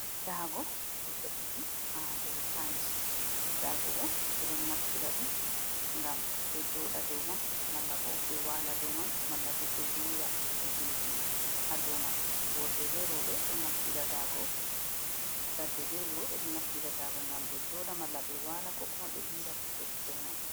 daago ɗo ve’iti ha dou tiles. Daago bo ɓe ɗon naftira ɗum ngam ɓe joɗa dou man, malla bo ɓe wala dou man, malla bo ɓe lira kujeji ha dou man. Worɓe be roɓe ɗo naftira daago, ladde be wuro ɓe ɗon naftira daago ngam ɓe joɗa malla ɓe wala ko kuma ɓe lira kuje dou man.